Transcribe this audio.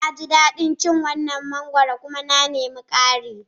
Na ji daɗin cin waɗannan mangwaro kuma na nemi ƙarin.